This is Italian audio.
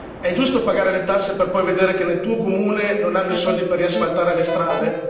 È giusto pagare le tasse per poi vedere che nel tuo comune non hanno i soldi per riasfaltare le strade?